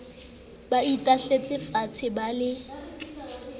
ba itahletse faatshe ba le